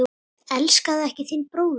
Elskaðu ekki þinn bróður.